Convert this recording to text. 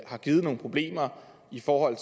har givet nogle problemer i forhold